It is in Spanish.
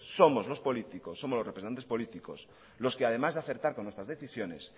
somos los representantes políticos los que además de acertar con nuestras decisiones